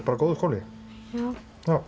bara góður skóli já